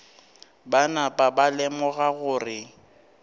ba napa ba lemoga gore